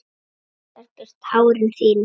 Þerrar burt tárin þín.